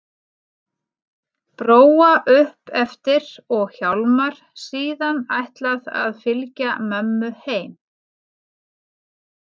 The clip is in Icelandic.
Bróa upp eftir og Hjálmar síðan ætlað að fylgja mömmu heim.